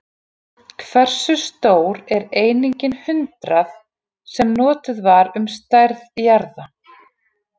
Hversu stór er einingin hundrað, sem notuð var um stærð jarða?